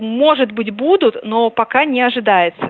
может быть будут но пока не ожидается